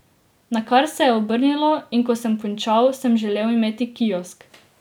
Nakar se je obrnilo, in ko sem končal, sem želel imeti kiosk.